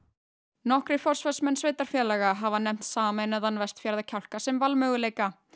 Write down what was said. nokkrir forsvarsmenn sveitarfélaga hafa nefnt sameinaðan Vestfjarðakjálka sem valmöguleika